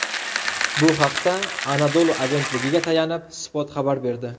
Bu haqda Anadolu agentligiga tayanib, Spot xabar berdi .